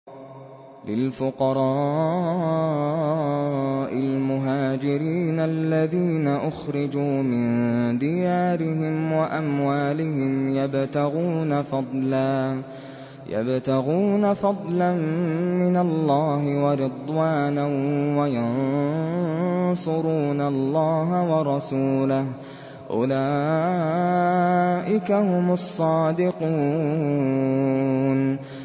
لِلْفُقَرَاءِ الْمُهَاجِرِينَ الَّذِينَ أُخْرِجُوا مِن دِيَارِهِمْ وَأَمْوَالِهِمْ يَبْتَغُونَ فَضْلًا مِّنَ اللَّهِ وَرِضْوَانًا وَيَنصُرُونَ اللَّهَ وَرَسُولَهُ ۚ أُولَٰئِكَ هُمُ الصَّادِقُونَ